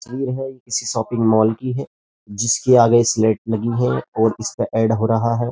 तस्वीर हैं किसी शॉपिंग माल की हैं जिसके आगे स्लैट नहीं है और इसका ऐड हो रहा हैं।